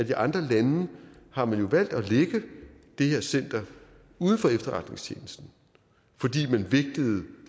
i andre lande har valgt at lægge det her center uden for efterretningstjenesten fordi man vægtede